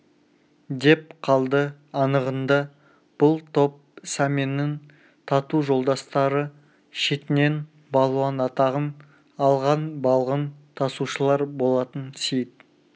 деп қалды анығында бұл топ сәменнің тату жолдастары шетінен балуан атағын алған балғын тасушылар болатын сейіт